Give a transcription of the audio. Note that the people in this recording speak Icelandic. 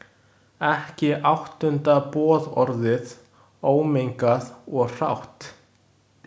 Ekki áttunda boðorðið, ómengað og hrátt.